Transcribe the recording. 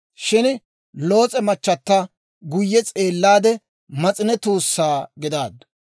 Shin Loos'e machata guyye s'eellaade mas'ine tuussaa gidaaddu.